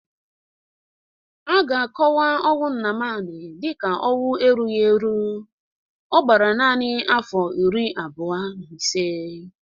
A ga-akọwa ọnwụ Nnamani dịịka ọnwụ erughi eru: ọ gbara nanị afọ iri abụọ na ise